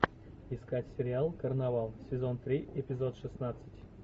искать сериал карнавал сезон три эпизод шестнадцать